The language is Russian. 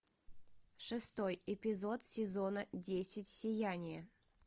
шестой эпизод сезона десять сияние